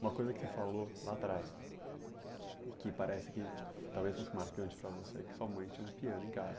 Uma coisa que você falou lá atrás, e que parece que talvez fosse marcante para você, é que sua mãe tinha um piano em casa.